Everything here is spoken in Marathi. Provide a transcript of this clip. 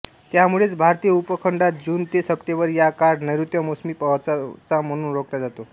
त्यामुळेच भारतीय उपखंडात जून ते सप्टेंबर या काळ नैर्ऋत्य मोसमी पावसाचा म्हणून ओळखला जातो